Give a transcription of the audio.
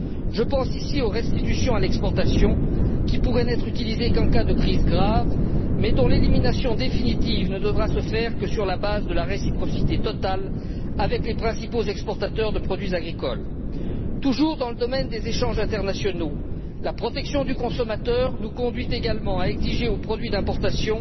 Je pense ici aux restitutions à l'exportation, qui pourraient n'être utilisées qu'en cas de crise grave mais dont l'élimination définitive ne devra se faire que sur la base de la réciprocité totale avec les principaux exportateurs des produits agricoles. Toujours dans le domaine des échanges internationaux, la protection du consommateur nous conduit également à imposer aux produits d'importation